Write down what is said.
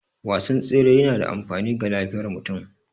Wasan tsere yana da amfani ga lafiyar mutum